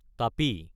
টাপি